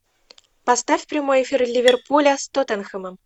поставь прямой эфир ливерпуля с тоттенхэмом